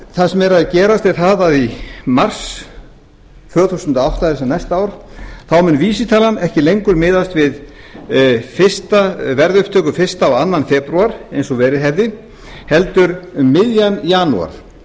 það sem er að gerast er það að í mars tvö þúsund og átta það er næsta ár þá mun vísitalan ekki lengur miðast við verðupptöku fyrstu og annan febrúar eins og verið hefði heldur um miðjan janúar